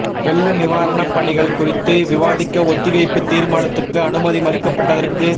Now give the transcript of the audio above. வெள்ள நிவாரணப் பணிகள் குறித்து விவாதிக்க ஒத்திவைப்பு தீா்மானத்துக்கு அனுமதி மறுக்கப்பட்டதற்கு